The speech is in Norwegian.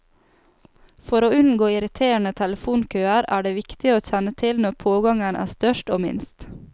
For å unngå irriterende telefonkøer, er det viktig å kjenne til når pågangen er størst og minst.